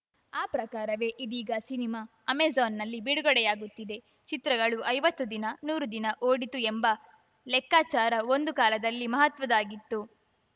ಆ ಪ್ರಕಾರವೇ ಇದೀಗ ಸಿನಿಮಾ ಅಮೆಜಾನ್‌ನಲ್ಲಿ ಬಿಡುಗಡೆಯಾಗುತ್ತಿದೆ ಚಿತ್ರಗಳು ಐವತ್ತು ದಿನ ನೂರು ದಿನ ಓಡಿತು ಎಂಬ ಲೆಕ್ಕಾಚಾರ ಒಂದು ಕಾಲದಲ್ಲಿ ಮಹತ್ವದ್ದಾಗಿತ್ತು